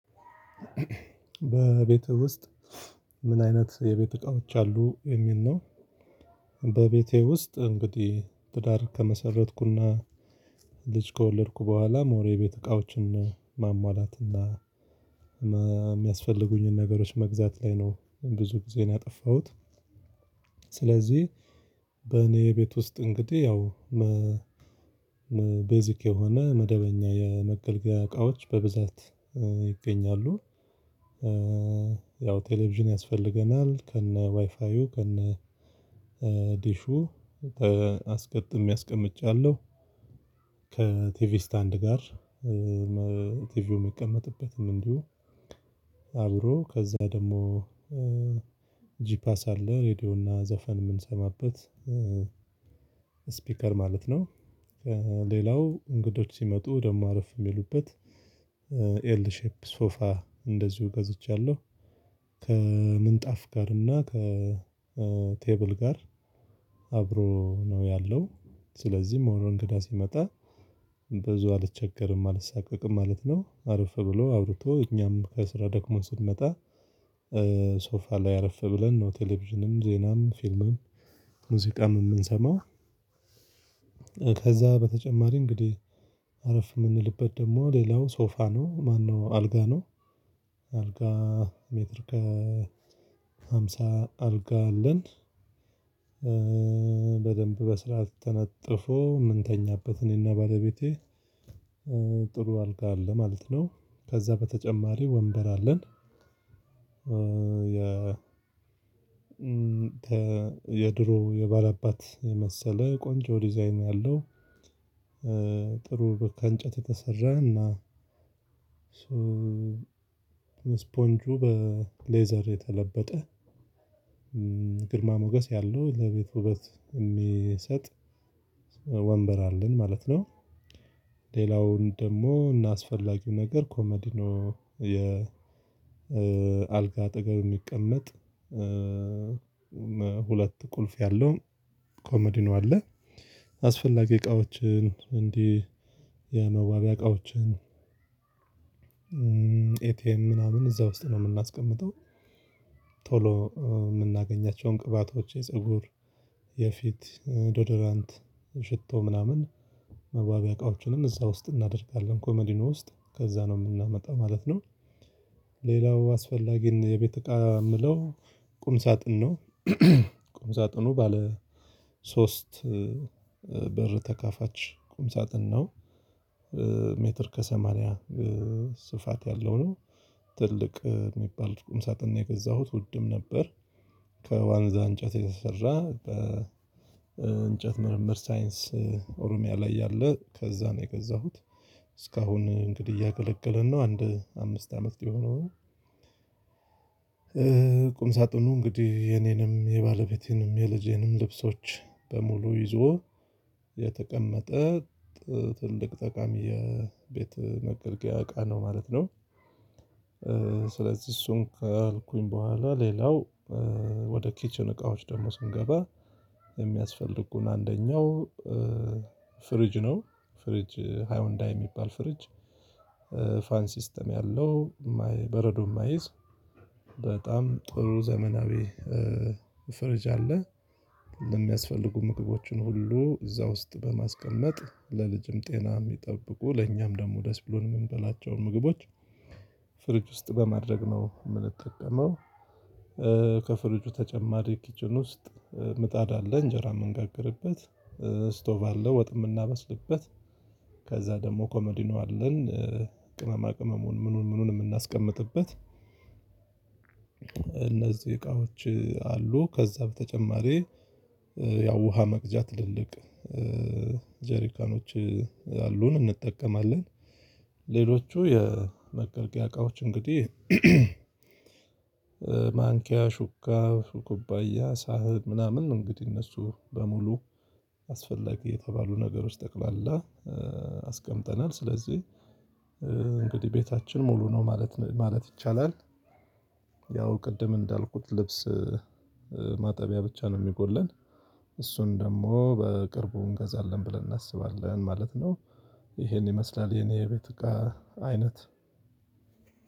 በቤትህ ውስጥ ምን አይነት የቤት እቃዎች አሉ የሚል ነው? በቤቴ ውስጥ እንግዲህ ትዳር ከመሰረትኩና ልጅ ከወለድኩ በኋላ ሞር ቤት እቃዎችን ማሟላትና የሚያስፈልጉኝን ነገሮች መግዛት ላይ ነው ብዙ ጊዜን ያጠፋሁት። ስለዚህ በኔ ቤት ውስጥ እንግዲህ ያው ቤዚክ የሆነ መደበኛ የመገልገያ እቃዎች በብዛት ይገኛሉ። ያው ቴሌቪዥን ያስፈልገናል ከነ ዋይፋዩ ከነ ዲሹ አስገጥሜ አስቀምጫለሁ። ከቲቪ ስታንድ ጋር ቲቪው የሚቀመጥበትም እንዲሁ አብሮ ከዛ ደግሞ ጅፓስ አለ ሬድዮ እና ዘፈን የምንሰማበት ስፒከር ማለት ነው። ሌላው እንግዶች ሲመጡ ደግሞ አረፍ የሚሉበት ኤል ሼፕ ሶፋ እንደዚሁ ገዝቻለሁ። ከምንጣፍ ጋር እና ከቴብል ጋር አብሮ ነው ያለው ስለዚህ ሞር እንግዳ ሲመጣ ብዙ አልቸገርም አልሳቀቅም ማለት ነው። አረፍ ብሎ አዉርቶ እኛም ከስራ ደክሞ ስንመጣ ሶፋ ላይ አረፍ ብለን ነው ቴሌቪዥንም ዜናም ፊልምም ሙዚቃም የምንሰማው። ከዛ በተጨማሪ እንግዲህ አረፍ የምንልበት ደግሞ ሌላው ሶፋ ነው ማነው አልጋ ነው አልጋ ሜትር ከሃምሳ አልጋ አለን። በደንብ በስርዓት ተነጥፎ የምንተኛበት እኔና ባለቤቴ ጥሩ አልጋ አለ ማለት ነው ከዛ በተጨማሪ ወንበር አለን። የድሮ የባላባት የመሰለ ቆንጆ ዲዛይን ያለው ጥሩ ከእንጨት የተሰራ እና ስፖንጁ በሌዘር የተለበጠ ግርማ ሞገስ ያለው ለቤት ውበት እሚሰጥ ወንበር አለን ማለት ነው። ሌላውን ደግሞ እና አስፈላጊው ነገር ኮመዲኖ የ አልጋ አጠገብ የሚቀመጥ ሁለት ቁልፍ ያለው ኮመዲኖ አለ አስፈላጊ እቃዎችን እንዲህ የመዋቢያ እቃዎችን ኤቲኤም ምናምን እዛ ውስጥ ነው የምናስቀምጠው። ቶሎ የምናገኛቸውን ቅባቶች የፀጉር የፊት ዶዶራንት ሽቶ ምናምን መዋቢያ እቃዎችንም እዛ ውስጥ እናደርጋለን ኮመዲኖ ውስጥ ከዛ ነው የምናመጣው ማለት ነው። ሌላው አስፈላጊ የቤት እቃ የምለው ቁም ሳጥን ነው። ቁም ሳጥኑ ባለ ሶስት በር ተካፋች ቁም ሳጥን ነው። ሜትር ከሰማንያ ስፋት ያለው ነው ትልቅ የሚባል ቁም ሳጥን ነው የገዛሁት ውድም ነበር። ከዋንዛ እንጨት የተሰራ በእንጨት ምርምር ሳይንስ ኦሮሚያ ላይ ያለ ከዛ ነው የገዛሁት። እስካሁን እንግዲህ እያገለገለን ነው አንድ አምስት አመት ሊሆነው ነው ቁም ሳጥኑ እንግዲህ የኔንም የባለቤቴንም የልጄንም ልብሶች በሙሉ ይዞ የተቀመጠ ትልቅ ጠቃሚ የቤት መገልገያ እቃ ነው ማለት ነው። ስለዚህ እሱን ካልኩኝ በኋላ ሌላው ወደ ኪችን እቃዎች ደግሞ ስንገባ የሚያስፈልጉን አንደኛው ፍሪጅ ነው። ፍሪጅ ሃይወንዳ የሚባል ፍርጅ ፋን ሲስተም ያለው በረዶም እማይዝ በጣም ጥሩ ዘመናዊ ፍሪጅ አለ። የሚያስፈልጉ ምግቦችን ሁሉ እዛ ውስጥ በማስቀመጥ ለልጅም ጤናም ይጠብቁ ለእኛም ደግሞ ደስ ብሎን የምንበላቸውን ምግቦች ፍሪጅ ውስጥ በማድረግ ነው የምንጠቀመው። ከፍሪጁ ተጨማሪ ኪችን ውስጥ ምጣድ አለ እንጀራ የምንጋግርበት ስቶቭ አለ ወጥ የምናበስልበት ከዛ ደግሞ ኮመዲኖ አለን። ቅመማ ቅመሙን ምኑን ምኑን የምናስቀምጥበት እነዚህ እቃዎች አሉ ከዛ በተጨማሪ ያው ውሃ መቅጃ ትልልቅ ጀሪካኖች አሉን እንጠቀማለን። ሌሎቹ የመገልገያ እቃዎች እንግዲህ ማንኪያ ሹካ ኩባያ ሳህን ምናምን እንግዲህ እነሱ በሙሉ አስፈላጊ የተባሉ ነገሮች ጠቅላላ አስቀምጠናል ስለዚህ እንግዲህ ቤታችን ሙሉ ነው ማለት ማለት ይቻላል። ያው ቅድም እንዳልኩት ልብስ ማጠቢያ ብቻ ነው የሚጎለን እሱን ደግሞ በቅርቡ እንገዛለን ብለን እናስባለን ማለት ነው። ይሄን ይመስላል የኔ ቤት እቃ አይነት